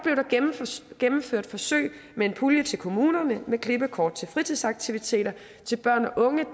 gennemført forsøg med en pulje til kommunerne med klippekort til fritidsaktiviteter til børn og unge